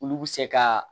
Olu bɛ se ka